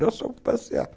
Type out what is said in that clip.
Nós fomos passear.